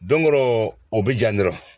Don dɔ o bɛ ja dɔrɔn